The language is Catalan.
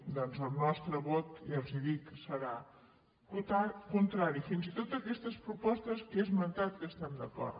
doncs el nostre vot ja els ho dic serà contrari fins i tot a aquestes propostes que he esmentat que hi estem d’acord